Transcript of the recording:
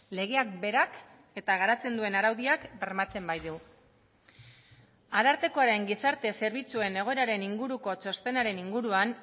legeak berak eta garatzen duen araudiak bermatzen baitu arartekoaren gizarte zerbitzuen egoeraren inguruko txostenaren inguruan